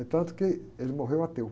É tanto que ele morreu ateu.